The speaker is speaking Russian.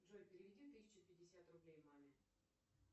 джой переведи тысячу пятьдесят рублей маме